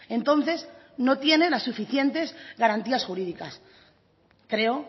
entonces no tiene las suficientes garantías jurídicas creo